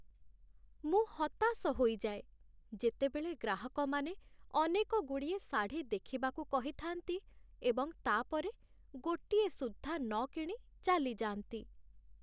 ମୁଁ ହତାଶ ହୋଇଯାଏ, ଯେତେବେଳେ ଗ୍ରାହକମାନେ ଅନେକଗୁଡ଼ିଏ ଶାଢ଼ୀ ଦେଖିବାକୁ କହିଥାନ୍ତି, ଏବଂ ତା' ପରେ ଗୋଟିଏ ସୁଦ୍ଧା ନ କିଣି ଚାଲିଯାଆନ୍ତି।